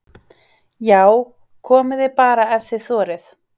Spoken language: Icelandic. JÁ, KOMIÐI BARA EF ÞIÐ ÞORIÐ!